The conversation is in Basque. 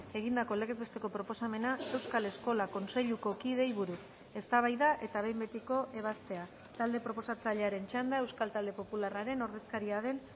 egindako legez besteko proposamena euskal eskola kontseiluko kideei buruz eztabaida eta behin betiko ebazpena talde proposatzailearen txanda euskal talde popularraren ordezkaria den